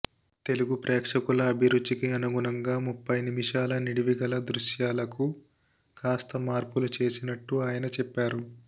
తెలుగు ప్రేక్షకుల అభిరుచికి అనుగుణంగా ముప్పై నిమిషాల నిడివి గల దృశ్యాలకు కాస్త మార్పులు చేసినట్టు ఆయన చెప్పారు